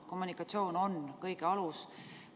Kommunikatsioon on kõige alus.